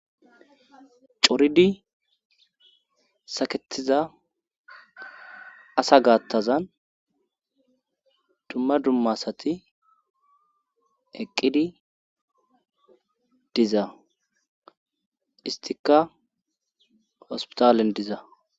coridi saketiza asa gaattazan dumma dumma asati eqqidi diza istikka hospitalen diza